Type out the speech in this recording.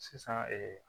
Sisan